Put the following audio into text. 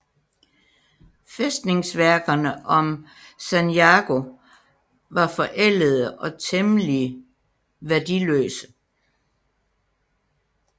Fæstningsværkerne om Sanjago var forældede og temmelig værdiløse